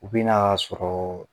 U bɛ n'a sɔrɔ